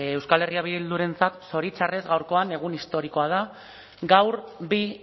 euskal herria bildurentzat zoritxarrez gaurkoan egun historikoa da gaur bi